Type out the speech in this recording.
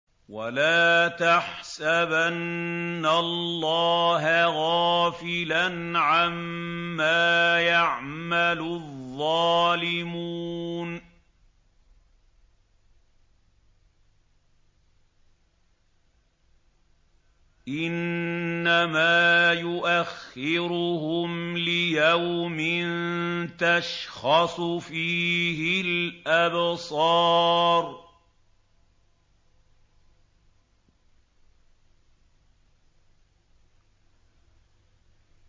وَلَا تَحْسَبَنَّ اللَّهَ غَافِلًا عَمَّا يَعْمَلُ الظَّالِمُونَ ۚ إِنَّمَا يُؤَخِّرُهُمْ لِيَوْمٍ تَشْخَصُ فِيهِ الْأَبْصَارُ